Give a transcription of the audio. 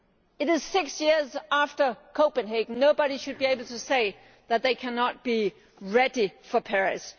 it is six years after Copenhagen, and nobody should be able to say that they cannot be ready for Paris.